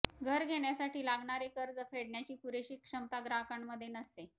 घर घेण्यासाठी लागणारे कर्ज फेडण्याची पुरेशी क्षमता ग्राहकांमध्ये नसते